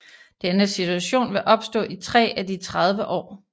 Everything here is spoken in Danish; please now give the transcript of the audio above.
Denne situation vil opstå i 3 af de 30 år